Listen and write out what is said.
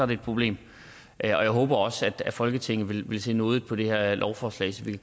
det et problem jeg håber også at folketinget vil vil se nådigt på det her lovforslag så vi